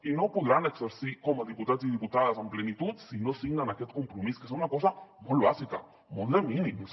i no podran exercir com a diputats i diputades en plenitud si no signen aquest compromís que és una cosa molt bàsica molt de mínims